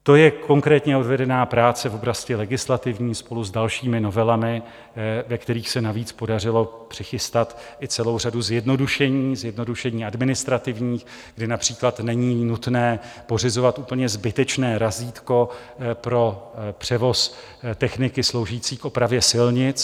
To je konkrétně odvedená práce v oblasti legislativní spolu s dalšími novelami, ve kterých se navíc podařilo přichystat i celou řadu zjednodušení, zjednodušení administrativních, kdy například není nutné pořizovat úplně zbytečné razítko pro převoz techniky sloužící k opravě silnic.